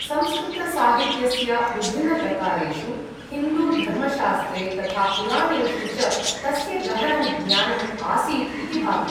संस्कृतसाहित्यस्य विभिन्नप्रकारेषु, हिन्दू धर्मशास्त्रे तथा पुराणेषु च तस्य गहनं ज्ञानम् आसीत् इति भाति।